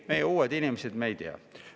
Meie oleme uued inimesed, me ei tea.